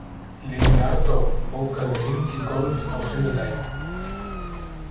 Leonardó, bókaðu hring í golf á sunnudaginn.